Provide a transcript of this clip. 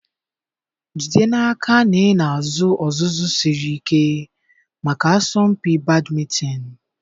Jide n'aka na ị na-azụ ọzụzụ siri ike maka asọmpi badịmịítonịị.